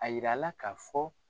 A yir'a la k'a fɔ.